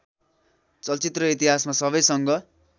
चलचित्र इतिहासमा सबैसँग